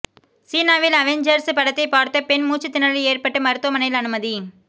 சீனாவில் அவெஞ்சர்ஸ் படத்தைப் பார்த்த பெண் மூச்சுத்திணறல் ஏற்பட்டு மருத்துவமனையில் அனுமதி